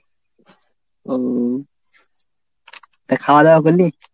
ও তা খাওয়া দাওয়া করলি?